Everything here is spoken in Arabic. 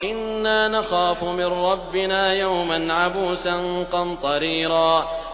إِنَّا نَخَافُ مِن رَّبِّنَا يَوْمًا عَبُوسًا قَمْطَرِيرًا